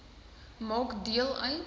maak deel uit